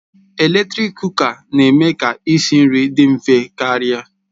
Eletrik Kụka na-eme ka isi nri dị mfe karịa